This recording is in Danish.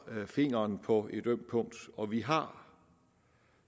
fingeren på et ømt punkt og vi har